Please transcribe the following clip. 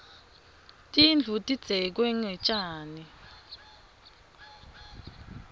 tindlu tidzeklwe ngetjani